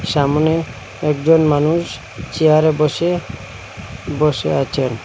সামনে একজন মানুষ চেয়ারে বসে বসে আচেন ।